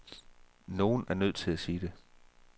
Nogen er nødt til at sige det.